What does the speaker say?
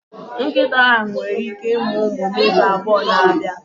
Nkịta ahụ nwere ike ịmụ ụmụ n'izu abụọ na-abịa abịa.